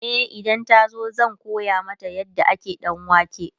e idan ta zo zan koya mata yadda ake danwake